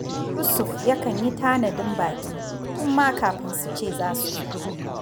Yusuf yakan yi tanadin baƙi tun ma kafin su ce za su zo